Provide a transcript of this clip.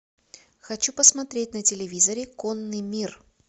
хочу посмотреть на телевизоре конный мир